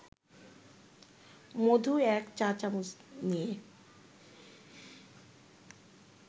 মধু ১ চা-চামচ নিয়ে